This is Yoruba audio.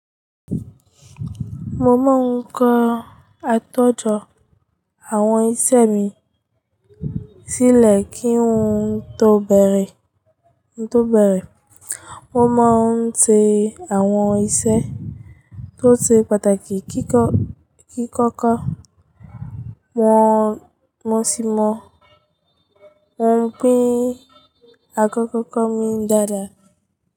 Mo máa ń kọ àtòjọ àwọn iṣẹ́ mi sílẹ̀ kí n tó bẹ̀rẹ̀. Mo máa ń tẹ àwọn iṣẹ́ tó ṣe pàtàkì kíkọ́kọ́, wọ́n sì mọ̀ wípé àkókò mi dára.